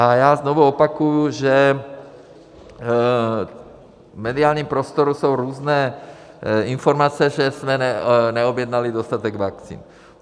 A já znovu opakuji, že v mediálním prostoru jsou různé informace, že jsme neobjednali dostatek vakcín.